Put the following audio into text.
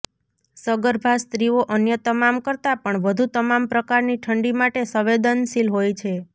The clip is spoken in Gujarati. સગર્ભા સ્ત્રીઓ અન્ય તમામ કરતાં પણ વધુ તમામ પ્રકારની ઠંડી માટે સંવેદનશીલ હોય છે